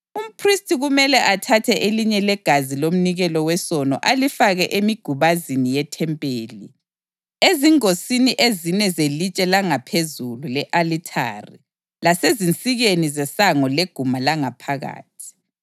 Umphristi kumele athathe elinye legazi lomnikelo wesono alifake emigubazini yethempeli, ezingosini ezine zelitshe langaphezulu le-alithari lasezinsikeni zesango leguma langaphakathi.